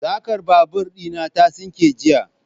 sarkar babur dina ta sinke jiya.